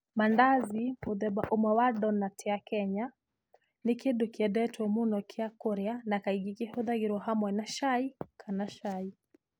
Mandazi, mũthemba ũmwe wa donut ya Kenya, nĩ kĩndũ kĩendetwo mũno gĩa kũrĩa, na kaingĩ kĩhũthagĩrũo hamwe na cai kana cai.